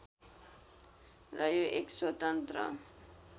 र यो एक स्वतन्त्र